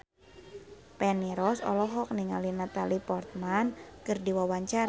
Feni Rose olohok ningali Natalie Portman keur diwawancara